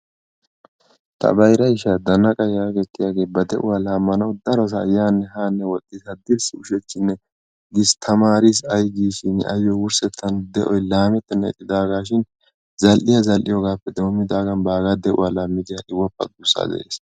Ta bayra ishaa dannaqa yaagiyoge ba de"uwa laammanawu darosaa yaanne haanne woxxiiddi haddirssi ushachchinne gis tamaaris ay gis shin ayyo de"oyi laamettennan ixxidaagaa shin zall"iya zall"iyogaapoe doommidaagan baagaa de"uwa laammidi ha"i woppa duussaa de"es.